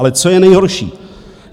Ale co je nejhorší?